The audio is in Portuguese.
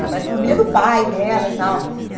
Ela parece com a família do pai dela e tal.